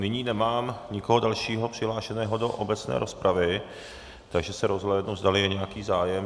Nyní nemám nikoho dalšího přihlášeného do obecné rozpravy, takže se rozhlédnu, zdali je nějaký zájem.